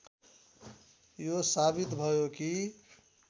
यो साबित भयो कि